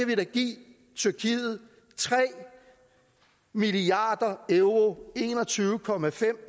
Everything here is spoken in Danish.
vi da give tyrkiet tre milliard euro en og tyve